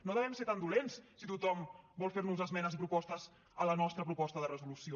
no devem ser tan dolents si tothom vol fer nos esmenes i propostes a la nostra proposta de resolució